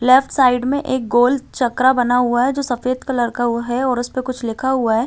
Left side में एक गोल चकरा बना हुआ है जो सफ़ेद कलर का है और उसपे कुछ लिखा हुआ है।